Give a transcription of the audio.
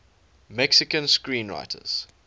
mexican screenwriters